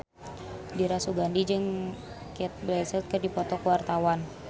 Dira Sugandi jeung Cate Blanchett keur dipoto ku wartawan